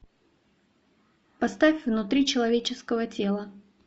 поставь внутри человеческого тела